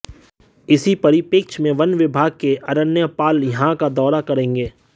इसी परिपेक्ष्य में वन विभाग के अरण्यपाल यहां का दौरा करेंगे